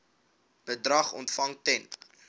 bedrag ontvang ten